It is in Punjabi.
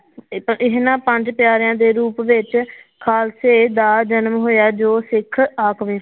ਇਹਨਾਂ ਪੰਜ ਪਿਆਰਿਆਂ ਦੇ ਰੂਪ ਵਿੱਚ ਖ਼ਾਲਸੇ ਦਾ ਜਨਮ ਹੋਇਆ ਜੋ ਸਿੱਖ